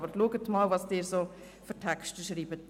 Aber schauen Sie einmal, was Sie für Texte schreiben.